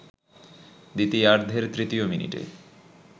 দ্বিতীয়ার্ধের তৃতীয় মিনিটে